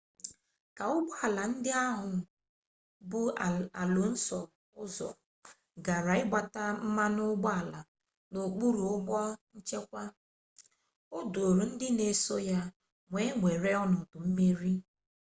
ka ụgbọ ala ndị ahụ bu alonso ụzọ gara ịgbata mmanụ ụgbọala n'okpuru ụgbọ nchekwa o duuru ndị n'eso ya wee were ọnọdụ mmeri